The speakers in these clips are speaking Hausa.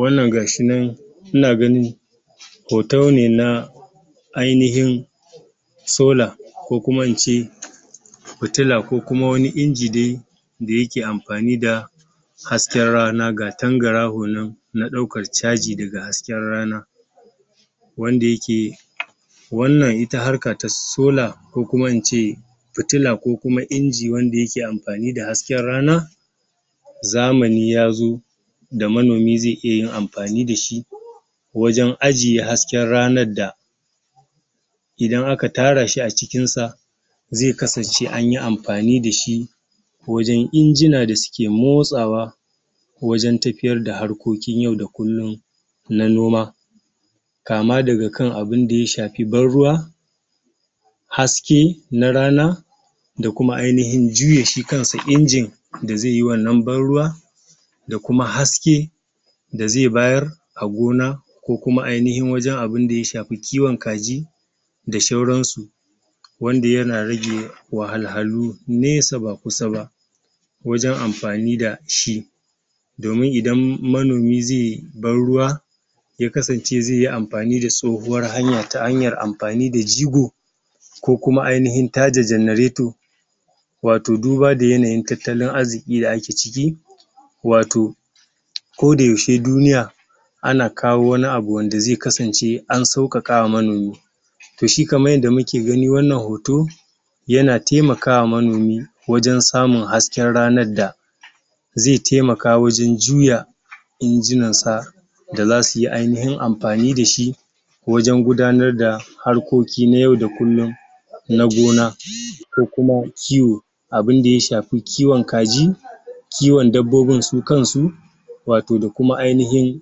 wannan gashi nan ina ganin hotone na ainihin solar ko kuma ince fitila ko kuma wani inji dai da yake amfani da hasken rana ga tangaraho nan na ɗaukar caji daga hasken rana wanda yake wannanita harka ta solar ko kuma ince fitila ko kuma inji wanda yake amfani da hasken rana zamani yazo da manomi zai iya yin amfani dashi wajen ajiye hasken ranar da idan aka tarashi a cikin sa zai kasance anyi amfani dashi wajen injina da suke motsawa wajen tafiyarda harkoin yau da kullum na noma kama daga kan abinda ya shafi ban ruwa haske na rana da kuma ainahin juya shi kansa injin wanda zaiyi wannan ban ruwa da kuma haske da zai bayar a gona ko kuma ainahin abinda ya shafi kiwon kaji da shauransu wanda yana rage wahalhalu nesa ba kusa ba wajen amfani dashi domin idan manomi zai ban ruwa ya kasance zai yi amfani da tsohuwar hanya, ta hanyar amfani da jigo ko kuma ainahin tada genarator wato duba da yanayin tattalin arziƙi da ake ciki wato koda yaushe duniya ana kawo wani abu wanda zai kasance an sauƙaƙawa manomi toshi kamar yanda muke gani wannan hoto yana taimakawa manomiwajen samun hasken ranarda zai taimaka wajen juya injinansa da zasu yi ainahin amfani dashi wajen gudanarda harkoki na yau da kullum na gona ko kuma kiwo abinda ya shafi kiwon kaji kiwon dabbobin su kansu wato da kuma ainahin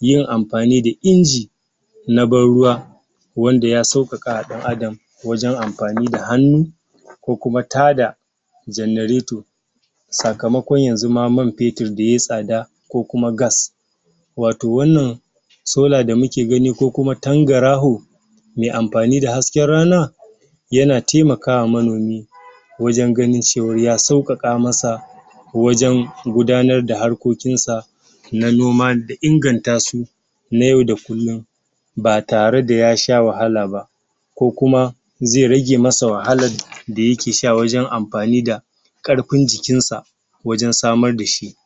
yin amfani da inji na ban ruwa wanda ya sauƙaƙawa ɗan adam wajen amfani da hannu ko kuma tada genarator sakamakon yanzuma man fetur da yai tsada ko kuma gas wato wannan solar da muke gani ko kuma tangaraho mai amfani da hasken rana yana taimakawa manomi wajen ganin cewarya sauƙaƙa masa wajen gudanarda harkokinsa na noma da ingantasu na yau da kullum ba tare da ya sha wahala ba ko kuma zai rage masa wahalad da yake sha wajen amfani da ƙarfin jikinsa wajen samar dashi